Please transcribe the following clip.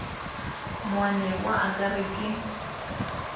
moanegwa a ka re ke